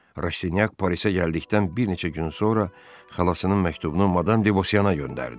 Rastinyak Parisə gəldikdən bir neçə gün sonra xalasının məktubunu madam Devosyanaya göndərdi.